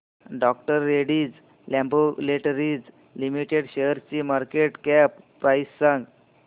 डॉ Reddy's laboratories limited शेअरची market cap price सांगा